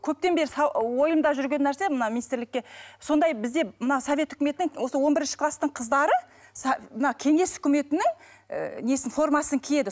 көптен бері ойымда жүрген нәрсе мына министрлікке сондай бізде мына совет үкіметінің осы он бірінші класстың қыздары мына кеңес үкіметінің ыыы несін формасын киеді